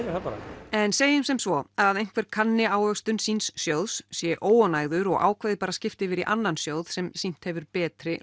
bara en segjum sem svo að einhver kanni ávöxtun síns sjóðs sé óánægður og ákveði bara að skipta yfir í annan sjóð sem sýnt hefur betri